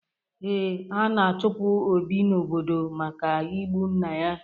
Ee, ana-achụpụ Obi n'obodo maka igbu nna ya.